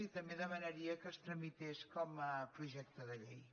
i també demanaria que es tramités com a projecte de llei